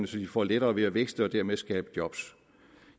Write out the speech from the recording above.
så de får lettere ved at vækste og dermed skabe job